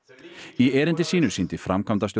í erindi sínu sýndi framkvæmdastjóri